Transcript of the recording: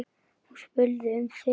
Hún spurði um þig.